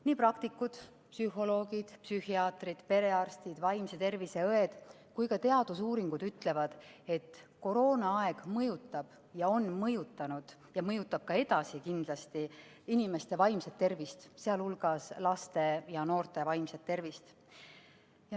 Nii praktikud, psühholoogid, psühhiaatrid, perearstid, vaimse tervise õed kui ka teadusuuringud ütlevad, et koroonaaeg on mõjutanud ja mõjutab kindlasti ka edasi inimeste vaimset tervist, sh laste ja noorte vaimset tervist.